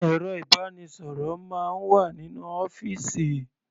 Ẹ̀rọ ìbánisọ̀rọ̀ máa ń wà nínú ọ́fìsì.